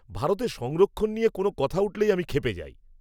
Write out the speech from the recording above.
ভারতে সংরক্ষণ নিয়ে কোনও কথা উঠলেই আমি ক্ষেপে যাই।